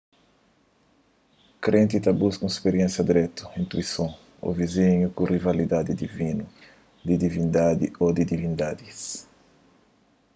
krenti ta buska un spiriénsia dirétu intuison ô vizon ku rialidadi divinu/di divindadi ô divindadis